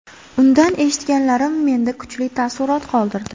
Undan eshitganlarim menda kuchli taassurot qoldirdi.